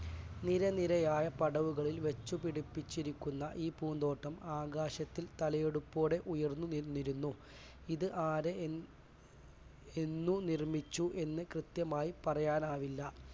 നിരനിരയായ പടവുകളിൽ വെച്ച് പിടിപ്പിച്ചിരിക്കുന്ന ഈ പൂന്തോട്ടം ആകാശത്തിൽ തലയെടുപ്പോടെ ഉയർന്നുനിന്നിരുന്നു. ഇത് ആരേ എന്ന് നിർമ്മിച്ചു എന്ന് കൃത്യമായി പറയാനാവില്ല.